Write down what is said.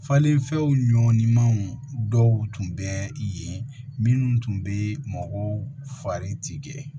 Falenfɛnw ɲɔnw dɔw tun bɛ yen minnu tun bɛ mɔgɔw fari ti kɛ